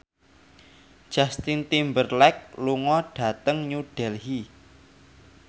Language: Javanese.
Justin Timberlake lunga dhateng New Delhi